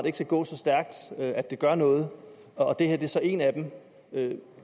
ikke skal gå så stærkt at det gør noget og at det her så er en af dem